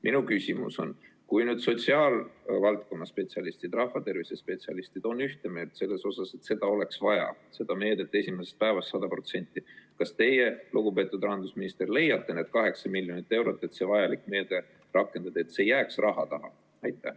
Minu küsimus on järgmine: kui sotsiaalvaldkonna spetsialistid, rahvatervise spetsialistid on ühte meelt selles, et seda oleks vaja – seda meedet hüvitada esimesest päevast 100% –, siis kas teie, lugupeetud rahandusminister, leiate need 8 miljonit eurot, et seda vajalikku meedet rakendada, nii et see ei jääks raha taha?